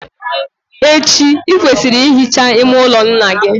Echi, ị kwesịrị ị hicha ime ụlọ nna gị.